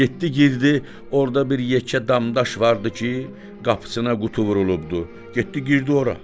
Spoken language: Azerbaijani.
Getdi girdi, orada bir yekə damdaş vardı ki, qapısına qutu vurulubdu, getdi girdi ora.